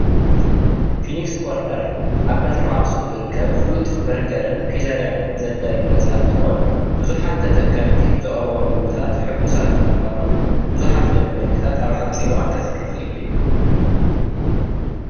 ፊኒክስ ኮርነር ኣብ ከተማ ኣክሱም ዝርከብ ፍሉጥ በርገርን ፒዘራን ዘዳሉ ገዛ እትኮን ቡዙሓት ተጠቀምቲ ብዘቅርቦ ምግብታት ሕጉሳት ብምኳኖም ቡዙሓት ደንበኛታት ኣብ ሓፅር እዋን ከፍሪ ኪአሉ እዩ፡፡